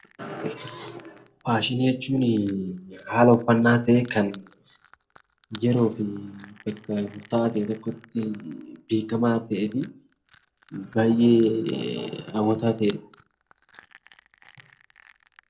Faashinii jechuun haala uffannaa ta'ee kan yeroo fi bakka murtaa'aa ta'e tokkotti beekamaa ta'eefi baay'ee hawwataa ta'edha.